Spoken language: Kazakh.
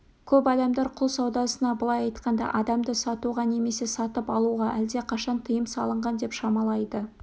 көп адамдар құл саудасына былай айтқанда адамды сатуға немесе сатып алуға әлдеқашан тыйым салынған деп шамалайды